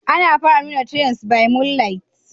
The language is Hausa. Ana fara nuna "tales by moonlight"?